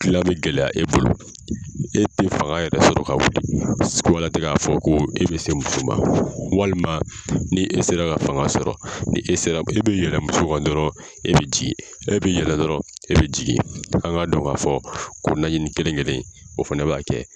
Gilan bɛ gɛlɛya e bolo e te fanga yɛrɛ sɔrɔ ka wuli kumala tɛ k'a fɔ ko e bɛ se muso ma walima ni e sera ka fanga sɔrɔ ni e sera e bɛ yɛlɛ muso kan dɔrɔn e bɛ jigin e bɛ yɛlɛ dɔrɔn e bɛ jigin an k'a dɔɔn k'a fɔ ko naɲini kelen kelen in o fana b'a kɛ.